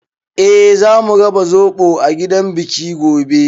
Eh, zamu raba zoɓo a gidan biki gobe.